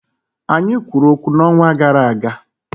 Anyị kwuru okwu n'ọnwa gara aga